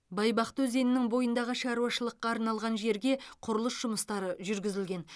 байбақты өзенінің бойындағы шаруашылыққа арналған жерге құрылыс жұмыстары жүргізілген